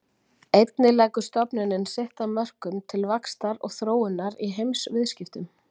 Einnig leggur stofnunin sitt af mörkum til vaxtar og þróunar í heimsviðskiptum.